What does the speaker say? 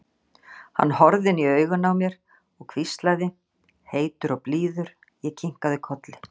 Hann horfði inn í augun á mér og hvíslaði, heitur og blíður, ég kinkaði kolli.